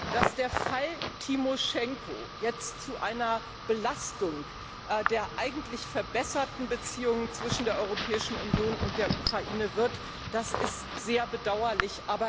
Dass der Fall Tymoschenko jetzt zu einer Belastung der eigentlich verbesserten Beziehungen zwischen der Europäischen Union und der Ukraine wird, ist sehr bedauerlich.